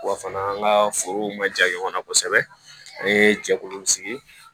Wa fana an ka forow ma ja ɲɔgɔnna kosɛbɛ an ye jɛkuluw sigi